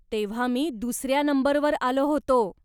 तेव्हा मी दुसऱ्या नंबरवर आलो होतो.